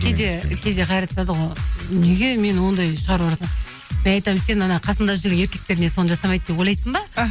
кейде қайрат айтады ғой неге мен ондай шаруа жасап мен айтамын сен қасыңда жүрген еркектер не соны жасамайды деп ойлайсың ба